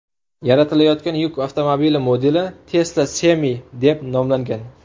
Yaratilayotgan yuk avtomobili modeli Tesla Semi deb nomlangan.